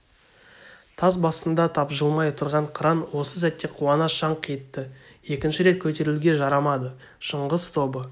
тас басында тапжылмай отырған қыран осы сәтте қуана шаңқ етті екінші рет көтерілуге жарамады шыңғыс тобы